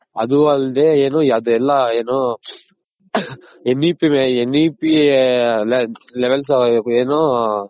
ಅದು ಅಲ್ದೆ ಏನು ಅದೆಲ್ಲ ಏನು sNEP Levels ಏನು.